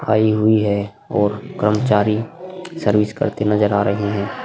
आई हुई है और कर्मचारी सर्विस करते नजर आ रहे हैं।